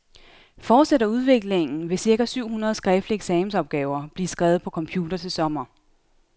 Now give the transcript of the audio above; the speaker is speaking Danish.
Fortsætter udviklingen, vil cirka syv hundrede skriftlige eksamensopgaver blive skrevet på computer til sommer.